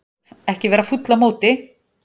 Ekki vera fúll á móti